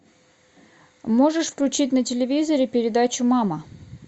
можешь включить на телевизоре передачу мама